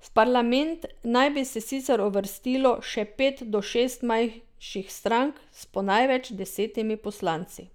V parlament naj bi se sicer uvrstilo še pet do šest manjših strank s po največ deset poslanci.